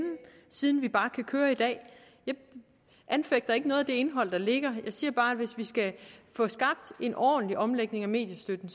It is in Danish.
siden vi bare kan køre i dag jeg anfægter ikke noget af det indhold der ligger jeg siger bare at hvis vi skal få skabt en ordentlig omlægning af mediestøtten